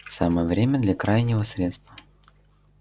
самое время для крайнего средства